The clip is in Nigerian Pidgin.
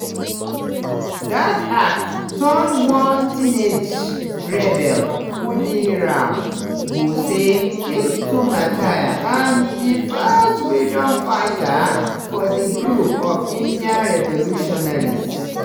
dat act turn one teenage rebel khudiram bose into martyr and di first "freedom fighter" for di group of indian revolutionaries.